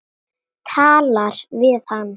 Talar við hann.